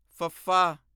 ਫੱਫਾ